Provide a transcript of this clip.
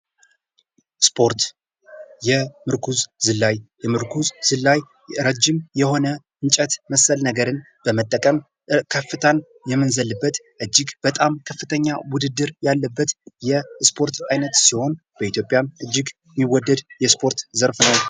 ስፖርት የምርኩዝ ዝላይ የምርኩዝ ዝላይ እረጅም የሆነ እንጨት መሰል ነገርን በመጠቀም ከፍታን የምንዘልበት እጅግ በጣም ከፍተኛ ውድድር ያለበት የህስፖርት አይነት ሲሆን በኢትዮጵያም እጅግ የሚወደድ የስፖርት ዘርፍ ነው።